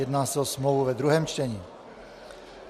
Jedná se o smlouvu ve druhém čtení.